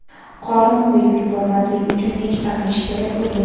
Qorin qo‘yib yubormaslik uchun nechta qilish kerak o‘zi?